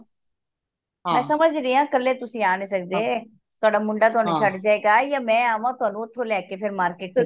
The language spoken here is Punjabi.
ਮੈਂ ਸਮਜਨੀ ਹਾਂ ਕਲੇ ਤੁਸੀਂ ਆ ਨਹੀਂ ਸਕਦੇ ਤੁਹਾਡਾ ਮੁੰਡਾ ਤੁਹਾਨੂੰ ਛੱਡ ਜਾਏਗਾ ਯਾ ਮੈਂ ਆਵਾ ਤੁਹਾਨੂੰ ਓਥੋਂ ਲੈ ਕੇ ਫੇਰ market ਚਲਾ